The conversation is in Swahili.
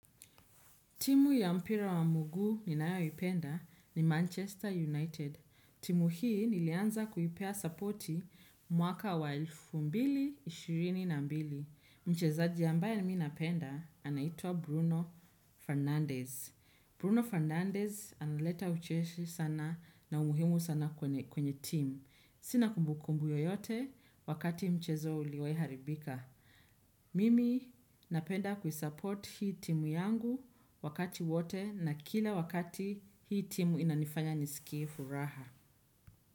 Timu ya mpira wa mguu ninayoipenda ni Manchester United. Timu hii nilianza kuipea supporti mwaka wa elfu mbili na ishirini na mbili. Mchezaji ambaye mi napenda anaitwa Bruno Fernandez. Bruno Fernandez analeta ucheshi sana na umuhimu sana kwenye timu. Sina kumbukumbu yoyote wakati mchezo uliwahi haribika. Mimi napenda kuisupport hii timu yangu wakati wote na kila wakati hii timu inanifanya nisikie furaha.